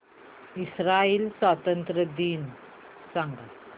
Israel स्वातंत्र्य दिन सांग